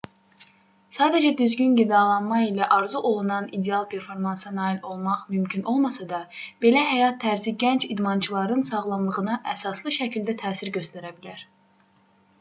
sadəcə düzgün qidalanma ilə arzuolunan ideal performansa nail olmaq mümkün olmasa da belə həyat tərzi gənc idmançıların sağlamlığına əsaslı şəkildə təsir göstərə bilər